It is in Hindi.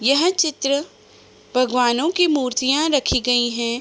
यह चित्र भगवानों की मूर्तियां रखी गई हैं ।